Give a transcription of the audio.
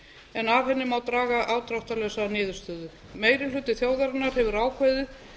en af henni má draga afdráttarlausa niðurstöðu meiri hluti þjóðarinnar hefur ákveðið